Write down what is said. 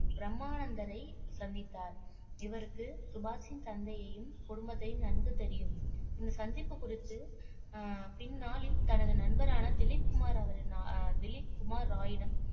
பிரம்மானந்தனை சந்தித்தார் இவருக்கு சுபாஷின் தந்தையையும் குடும்பத்தையும் நன்கு தெரியும் இந்த சந்திப்பு குறித்து அஹ் பின்னாளில் தனது நண்பரான திலீப்குமார் அவரின் அஹ் திலீப்குமார் ராயுனும்